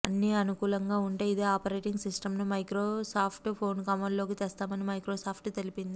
అన్ని అనుకూలంగా ఉంటే ఇదే ఆపరేటింగ్ సిస్టమ్ను మైక్రోసాఫ్ట్ ఫోనుకు అమల్లోకి తెస్తామని మైక్రోసాఫ్ట్ తెలిపింది